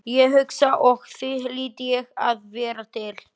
Ég hugsa og því hlýt ég að vera til.